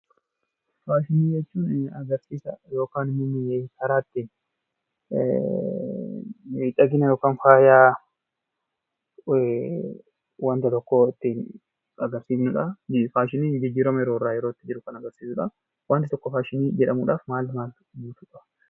Faashinii jechuun agarsiisa yookan immoo karaa ittiin miidhagina yookan faaya waanta tokkoo ittiin agarsiifnudhaa. Faashiniin jijjiirama yeroorraa yerootti jiru kan agarsiisudhaa. Wanni tokko faashinii jedhamuudhaaf maal maal guutuu qaba?